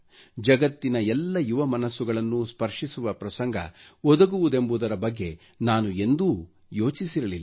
ಜಗತ್ತಿನ ಎಲ್ಲ ಯುವ ಮನಸ್ಸುಗಳನ್ನು ಸ್ಪರ್ಷಿಸುವ ಪ್ರಸಂಗ ಒದಗುವುದೆಂಬುದರ ಬಗ್ಗೆ ನಾನು ಎಂದೂ ಯೋಚಿಸಿರಲಿಲ್ಲ